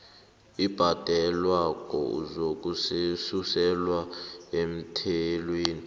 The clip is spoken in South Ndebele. obhadelwako uzakususelwa emthelweni